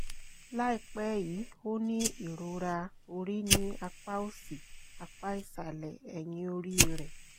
láìpẹ́ yìí ó ní ìrora orí ní apá òsì apá ìsàlẹ̀ ẹ̀yìn orí rẹ̀